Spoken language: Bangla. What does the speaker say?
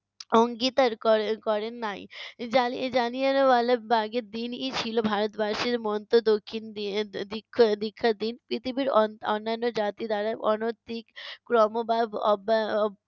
অঙ্গীতার করে করেন নাই। জালি জানিয়ালওয়ালাবাগের দ্বীন ই ছিলো ভারতবাসীর মন্ত দক্ষিণ দী~ এর দ~ দীক্ষা দীক্ষার দিন। পৃথিবীর অন~ অন্যান্য জাতি দ্বারা অনতিক্রম্য বা